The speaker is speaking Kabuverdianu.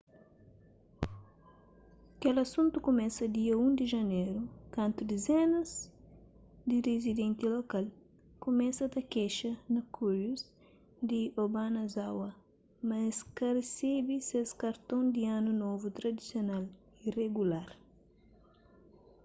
kel asuntu kumesa dia 1 di janeru kantu dizenas di rizidenti lokal kumesa ta kexa na kureius di obanazawa ma es ka resebe ses karton di anu novu tradisional y regular